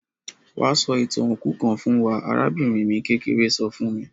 Wa sọ ìtàn òkú kan fún wa; arabìnrin mi kékeré so fun mi.